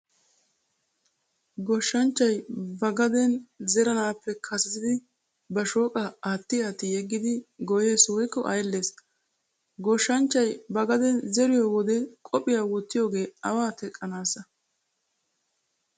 Goshshanchchay ba gaden zeranaappe kasetidi ba shooqaa aatti aatti yeggidi goyyees woykko ayllees. Goshshanchchay ba gaden zeriyo wode qophiyaa wottiyoogee awaa teqqanaasssa